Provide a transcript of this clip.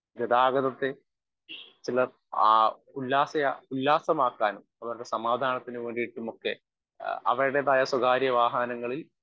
speaker 1 ഗതാഗതത്തെ ചിലർ ആ ഉല്ലാസ ഉല്ലാസമാക്കനും അവരുടെ സമാധാനത്തിനുവേണ്ടിട്ടുമൊക്കെ അവരുടേതായ സ്വകാര്യ വാഹനങ്ങളിൽ